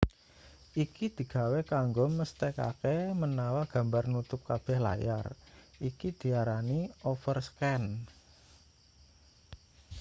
iki digawe kanggo mesthekake menawa gambar nutup kabeh layar iki diarani overscan